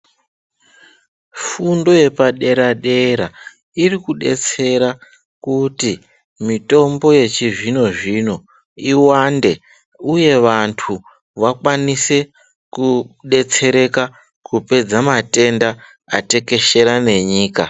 Fundo yepaderadera irikudetsera kuti mitombo yechizvinozvino iwande uye vantu wakwanise kudetsereka kupedza matenda atekeshera nenyika.